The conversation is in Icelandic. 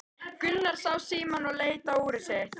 Gunnar sá Símon og leit á úrið sitt.